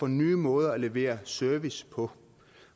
nye måder at levere service på